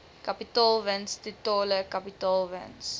kapitaalwins totale kapitaalwins